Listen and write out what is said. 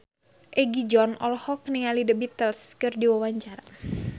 Egi John olohok ningali The Beatles keur diwawancara